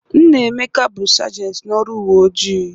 Nna Emeka bụ sagenti n'ọrụ uwe ojii.